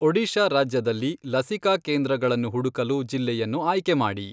ಒಡಿಶಾ ರಾಜ್ಯದಲ್ಲಿ ಲಸಿಕಾ ಕೇಂದ್ರಗಳನ್ನು ಹುಡುಕಲು ಜಿಲ್ಲೆಯನ್ನು ಆಯ್ಕೆ ಮಾಡಿ.